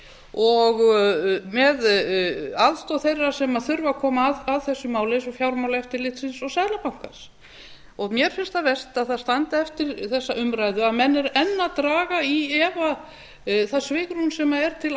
og með aðstoð þeirra sem þurfa að koma að þessu máli eins og fjármálaeftirlitsins og seðlabankans mér finnst það verst að það standi eftir þessa umræðu að menn eru enn að draga í efa það svigrúm sem er til